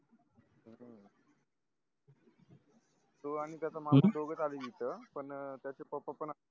तो आणि त्याचा मामा दोघच आले तिथ पण त्याचे पप्पा पण